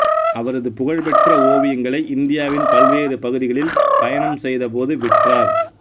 அவரது பகழ்பெற்ற ஓவியங்களை இந்தியாவின் பல்வேறு பகுதிகளில் பயணம் செய்தபோது விற்றார்